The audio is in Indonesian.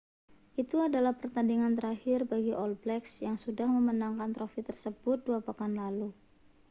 itu adalah pertandingan terakhir bagi all blacks yang sudah memenangkan trofi tersebut dua pekan lalu